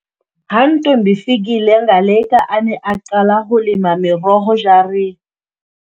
Ha Ntombifikile Ngaleka a ne a qala ho lema meroho jare-